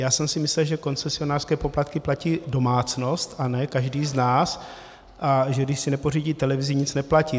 Já jsem si myslel, že koncesionářské poplatky platí domácnost a ne každý z nás, a že když si nepořídí televizi, nic neplatí.